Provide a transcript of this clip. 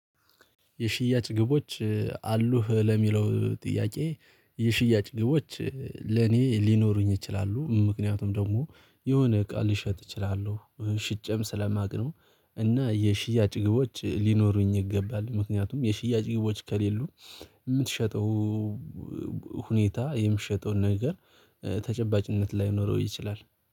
የሽያጭ ግቦች አሉህ? ለሚለው ጥያቄ የሽያጭ ግቦች ለኔ ሊኖሩኝ ይችላሉ ምክንያቱም ደግሞ የሆነ እቃ ልሸጥ እችላለሁ ሽጨም ስለማውቅ ነው እና የሽያጭ ግቦች ሊኖሩኝ ይገባል ምክንያቱም የሽያጭ ግቦች ከሌሉ የምትሸጠው ሁኔታ የምትሸጠውን ነገር ተጨባጭነት ላይኖረው ይችላል